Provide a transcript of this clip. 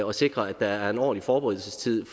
og sikre at der er en ordentlig forberedelsestid